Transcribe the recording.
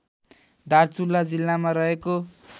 दार्चुला जिल्लामा रहेको